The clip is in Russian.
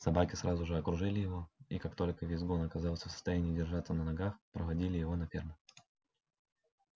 собаки сразу же окружили его и как только визгун оказался в состоянии держаться на ногах проводили его на ферму